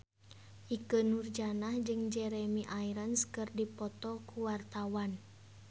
Ikke Nurjanah jeung Jeremy Irons keur dipoto ku wartawan